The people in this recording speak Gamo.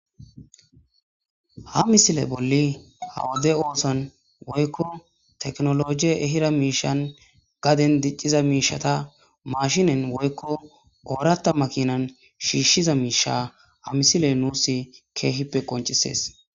ha misile bolli hawode oosan woykko teknologie ehira miishan gaden dicciza miishata mashinen woykko ooratta makinan shiishshiza miisha ha misile nuus keehippe qoncisees